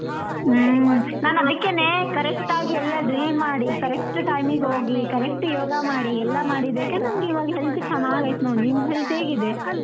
ಹ್ಮ್ ನಾನ್ ಅದಕ್ಕೇನೆ correct ಆಗಿ ಎಲ್ಲ drill ಮಾಡಿ correct time ಗ್ ಹೋಗಿ correct ಯೋಗ ಮಾಡಿ ಎಲ್ಲ ಮಾಡಿದಕ್ಕೆನೇ ನಂಗ್ ಇವಾಗ health ಚೆನ್ನಾಗ್ ಐತೆ ನೋಡು ನಿನ್ health ಹೇಗಿದೆ?